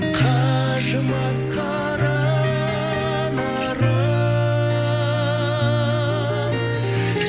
қажымас қара нарым